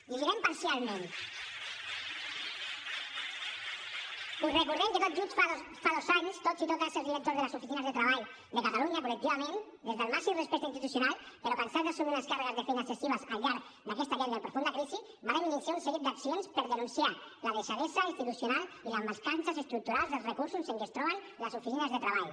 la llegirem parcialment us recordem que tot just fa dos anys tots i totes els directors de les oficines de treball de catalunya col·lectivament des del màxim respecte institucional però cansats d’assumir unes càrregues de feina excessives al llarg d’aquesta llarga i profunda crisi vàrem iniciar un seguit d’accions per denunciar la deixadesa institucional i les mancances estructurals dels recursos en què es troben les oficines de treball